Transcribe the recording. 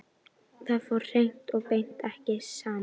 Það fór hreint og beint ekki saman.